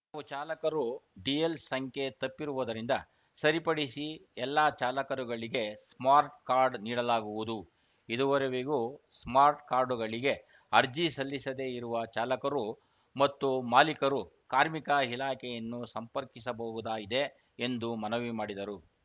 ಕೆಲವು ಚಾಲಕರು ಡಿಎಲ್‌ಸಂಖ್ಯೆ ತಪ್ಪಿರುವುದರಿಂದ ಸರಿಪಡಿಸಿ ಎಲ್ಲ ಚಾಲಕರುಗಳಿಗೆ ಸ್ಮಾರ್ಟ್‌ಕಾರ್ಡ್‌ ನೀಡಲಾಗುವುದು ಇದುವರೆವಿಗೂ ಸ್ಮಾರ್ಟ್‌ ಕಾರ್ಡ್‌ಗಳಿಗೆ ಅರ್ಜಿ ಸಲ್ಲಿಸದೆ ಇರುವ ಚಾಲಕರು ಮತ್ತು ಮಾಲೀಕರು ಕಾರ್ಮಿಕ ಇಲಾಖೆಯನ್ನು ಸಂಪರ್ಕಿಸಬಹುದಾಗಿದೆ ಎಂದು ಮನವಿ ಮಾಡಿದರು